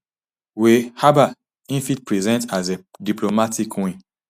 wey um im fit present as a diplomatic win